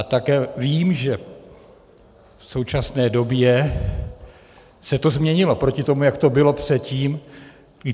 A také vím, že v současné době se to změnilo proti tomu, jak to bylo předtím.